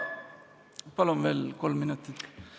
Palun veel kolm minutit!